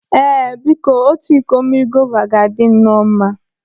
Ee, biko! Otu iko mmiri gova ga-adị nọọ mma?